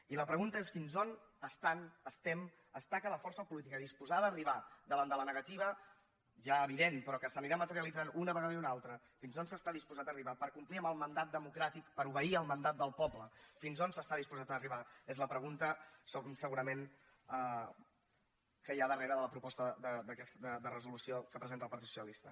i la pregunta és fins on estan estem està la força política disposada a arribar davant de la negativa ja evident però que s’anirà materialitzant una vegada i una altra fins on s’està disposat a arribar per complir amb el mandat democràtic per obeir el mandat del poble fins on s’està disposat a arribar és la pregunta segurament que hi ha darrere de la proposta de resolució que presenta el partit socialista